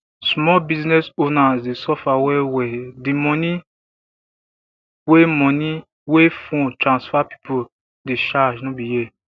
small business owners dey suffer wellwell di money wey money wey phone transfer pipo dey charge no be here